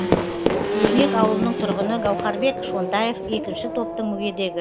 өрнек ауылының тұрғыны гаухарбек шонтаев екінші топтың мүгедегі